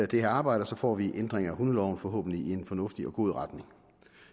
det her arbejde og så får vi en ændring af hundeloven forhåbentlig i en fornuftig og god retning